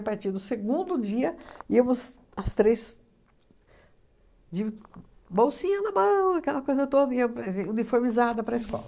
A partir do segundo dia, íamos as três de bolsinha na mão, aquela coisa toda iam para as e uniformizada para a escola.